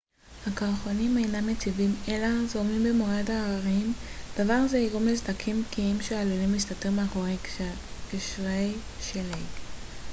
הקרחונים אינם יציבים אלא זורמים במורד ההרים דבר זה יגרום לסדקים בקיעים שעלולים להסתתר מאחורי גשרי שלג